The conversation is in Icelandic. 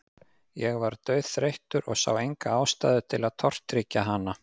Ég var dauðþreyttur og sá enga ástæðu til að tortryggja hana.